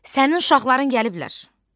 Sənin uşaqların gəliblər,